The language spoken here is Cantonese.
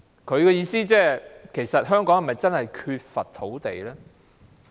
他的意思是其實香港是否真的缺乏土地呢？